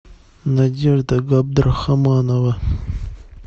надежда габдрахаманова